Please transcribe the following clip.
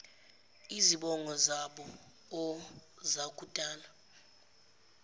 izibongo zaboo zakudala